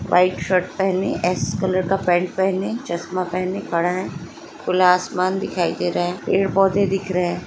पेड़-पौधे दिख रहे है वाइट शर्ट पहने अस्स कलर का पेंट पहने चस्मा पहने खड़ा है खुला आसमान दिखाई दे रहा है पेड़-पौधे दिख रहे है।